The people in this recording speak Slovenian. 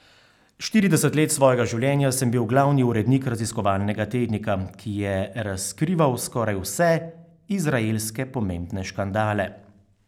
Štirideset let svojega življenja sem bil glavni urednik raziskovalnega tednika, ki je razkrival skoraj vse izraelske pomembne škandale.